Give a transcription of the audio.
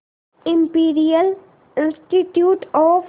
imperial institute of